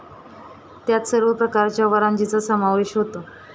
त्यात सर्व प्रकारच्या वंराजीचा समावेश होता.